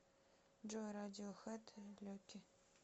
джой радиохэд лаки